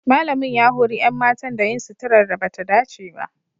Malamin ya hori 'yan matan da yin suturar da ba ta dace ba.